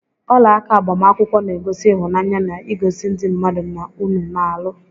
Ọlaaka agbamakwụkwọ na- egosi ịhụnanya na igosi ndị mmadụ na unu na- alụ